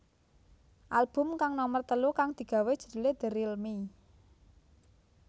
Album kang nomer telu kang digawé judhulé The Real Me